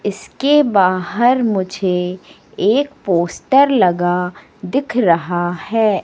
इसके बाहर मुझे एक पोस्टर लगा दिख रहा है।